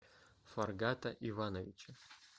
фаргата ивановича